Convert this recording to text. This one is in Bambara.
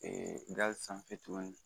Ee gazi sanfɛ tuguni